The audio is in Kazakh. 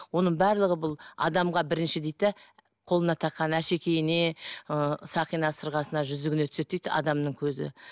оның барлығы бұл адамға бірінші дейді де қолына таққан әшекейіне ы сақина сырғасына жүзігіне түседі дейді адамның көзі